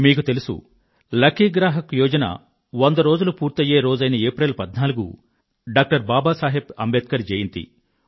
మీకు తెలుసు లక్కీ గ్రాహక్ యోజన వంద రోజులు పూర్తయ్యే రోజైన ఏప్రిల్ 14వ తేదీ డాక్టర్ బాబా సాహెబ్ అంబేడ్కర్ జయంతి